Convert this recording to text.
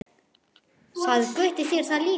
Sagði Gutti þér það líka?